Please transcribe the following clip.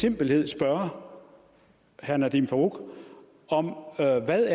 enkelhed spørge herre nadeem farooq om hvad der